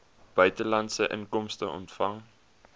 buitelandse inkomste ontvang